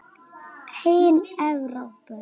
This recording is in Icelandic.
Hin Evrópu